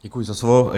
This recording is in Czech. Děkuji za slovo.